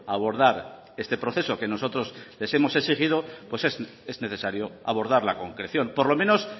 abordar este proceso que nosotros les hemos exigido pues es necesario abordar la concreción por lo menos